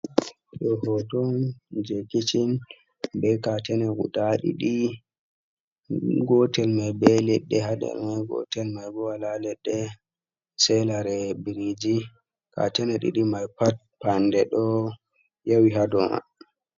Ɗo hoto on je kichin, be katene guda ɗiɗi, gotel mai be leɗɗe hader gotel maibo wala leɗɗe sai lare biriji, katene ɗiɗi mai pat fanɗe ɗo yawi ha do man.